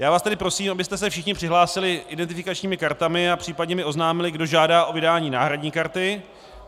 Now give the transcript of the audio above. Já vás tedy prosím, abyste se všichni přihlásili identifikačními kartami a případně mi oznámili, kdo žádá o vydání náhradní karty.